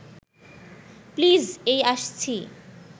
please এই আসছি